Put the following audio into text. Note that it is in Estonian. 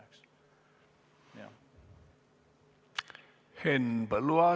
Henn Põlluaas, palun!